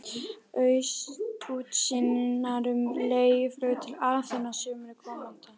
Útsýnar um leiguflug til Aþenu á sumri komanda.